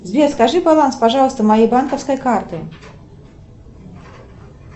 сбер скажи баланс пожалуйста моей банковской карты